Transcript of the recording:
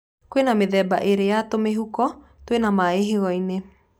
Kwĩ mĩthenba ĩrĩ ya tũmĩhuko twĩna maĩ higo-inĩ.